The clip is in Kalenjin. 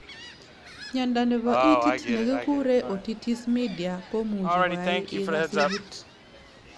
Miondo nebo itit negeegure otitis media komuchi koai igaas ibut